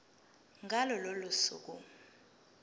ngalo lolo suku